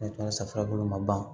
safunɛ bolo ma ban